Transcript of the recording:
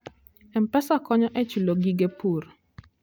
M-Pesa konyo e chulo gige pur.